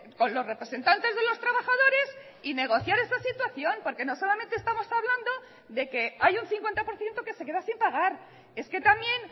con los representantes de los trabajadores y negociar esa situación porque no solamente estamos hablando de que hay un cincuenta por ciento que se queda sin pagar es que también